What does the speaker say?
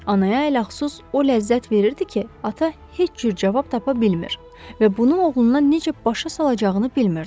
Anaya ələlxüsus o ləzzət verirdi ki, ata heç cür cavab tapa bilmir və bunu oğluna necə başa salacağını bilmirdi.